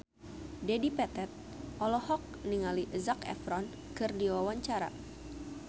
Dedi Petet olohok ningali Zac Efron keur diwawancara